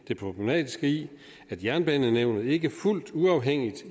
det problematiske i at jernbanenævnet ikke er fuldt uafhængigt